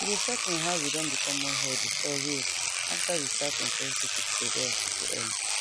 e dey shock me how we don become more healthy for real after we start encourage people to go hospital early